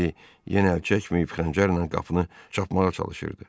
Miledi yenə əl çəkməyib xəncərlə qapını çapmağa çalışırdı.